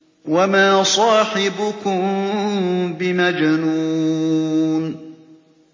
وَمَا صَاحِبُكُم بِمَجْنُونٍ